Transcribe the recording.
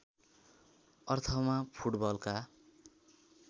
अर्थमा फुटबलका